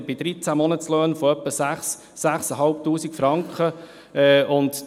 Bei 13 Monatslöhnen spreche ich von etwa 6000 bis 6500 Franken.